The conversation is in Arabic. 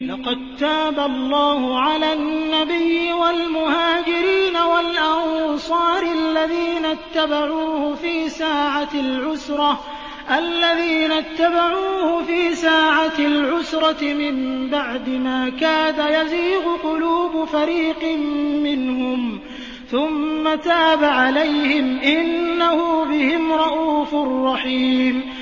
لَّقَد تَّابَ اللَّهُ عَلَى النَّبِيِّ وَالْمُهَاجِرِينَ وَالْأَنصَارِ الَّذِينَ اتَّبَعُوهُ فِي سَاعَةِ الْعُسْرَةِ مِن بَعْدِ مَا كَادَ يَزِيغُ قُلُوبُ فَرِيقٍ مِّنْهُمْ ثُمَّ تَابَ عَلَيْهِمْ ۚ إِنَّهُ بِهِمْ رَءُوفٌ رَّحِيمٌ